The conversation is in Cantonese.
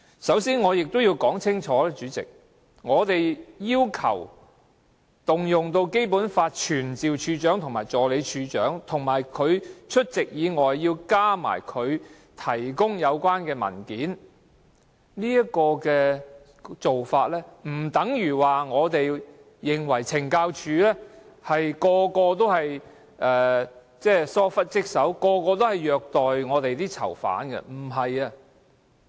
首先我要說清楚，我們要求引用《基本法》傳召懲教署署長及助理署長出席立法會，並提供有關的文件，並不代表我們認為所有懲教人員均玩忽職守、虐待囚犯。